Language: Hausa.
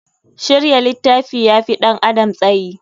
Shirya littafi ya fi ɗan adam tsayi.